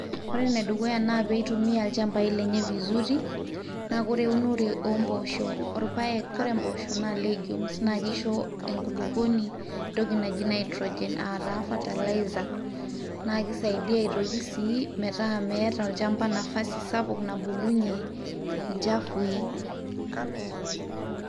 ore enedukuya naa piitumia ilchambai lenye vizuri naa kore eunore oomposho orpayek kore empoosho naa legumes naa kisho enkulupuoni entoki naji nitrogen aataa fertilizer naa kisaidia aitoki sii metaa meeta olchamba nafasi sapuk nabulunyie inchafui